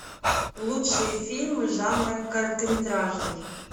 лучшие фильмы жанра короткометражный